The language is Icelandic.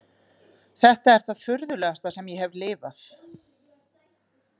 Þetta er það furðulegasta sem ég hef lifað.